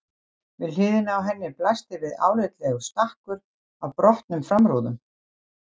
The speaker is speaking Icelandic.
Við hliðina á henni blasti við álitlegur stakkur af brotnum framrúðum.